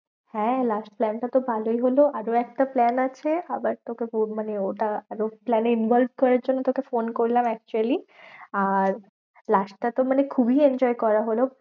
হ্যাঁ last plan টা তো ভালোই হলো। আরও একটা plan আছে, আবার তোকে মানে ওটা আরও plan এ involve করার জন্য তোকে ফোন করলাম actually. আর last টা তো খুবই enjoy করা হলো।